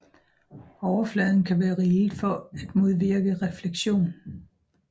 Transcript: Overfladen kan være rillet for at modvirke refleksion